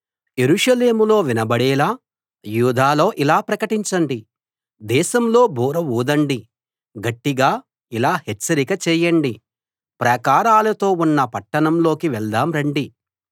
యెరూషలేములో వినబడేలా యూదాలో ఇలా ప్రకటించండి దేశంలో బూర ఊదండి గట్టిగా ఇలా హెచ్చరిక చేయండి ప్రాకారాలతో ఉన్న పట్టణాల్లోకి వెళ్దాం రండి